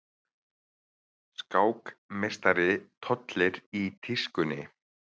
Skákmeistari tollir í tískunni